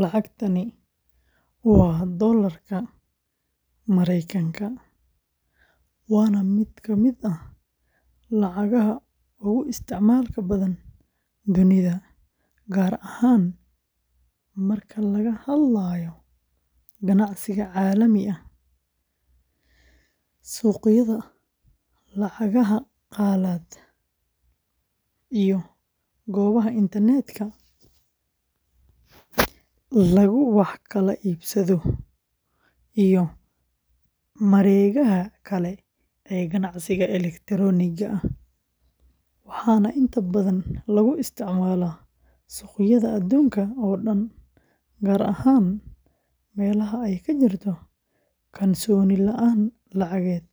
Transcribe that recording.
Lacagtani waa dollarka Mareykanka, waana mid ka mid ah lacagaha ugu isticmaalka badan dunida, gaar ahaan marka laga hadlayo ganacsiga caalamiga ah, suuqyada lacagaha qalaad, iyo goobaha internetka lagu wax kala iibsado iyo mareegaha kale ee ganacsiga elektarooniga ah, waxaana inta badan lagu isticmaalaa suuqyada adduunka oo dhan, gaar ahaan meelaha ay ka jirto kalsooni la’aan lacageed